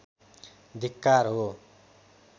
धिक्कार हो